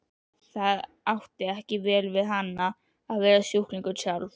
Það átti ekki vel við hana að vera sjúklingur sjálf.